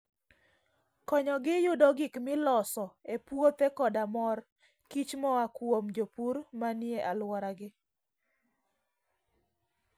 Konyogi yudo gik miloso e puothe koda mor kich moa kuom jopur manie alworagi.